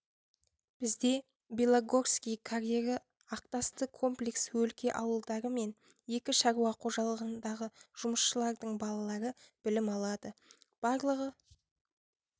бізде белогорский карьері ақтасты комплекс өлке ауылдары мен екі шаруа қожалығындағы жұмысшылардың балалары білім алады барлығы